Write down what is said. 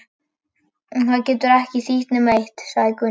Og það getur ekki þýtt nema eitt, sagði Gunni.